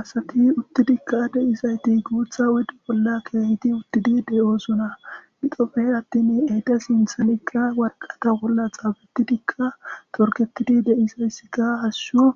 Asati uttidika deizaytti guutha oydde bolla kehidi uutidi de'osona giddope attin eeta sinththanka waaraqata bolla xafetidika torgetidi deizayssika hashshu